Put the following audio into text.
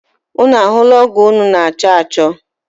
Ụnụ ahụla ọgo ụnụ na- achọ achọ?